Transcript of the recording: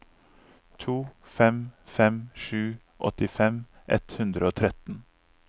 to fem fem sju åttifem ett hundre og tretten